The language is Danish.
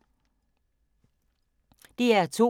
DR2